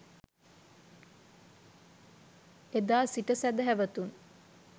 එදා සිට සැදැහැවතුන්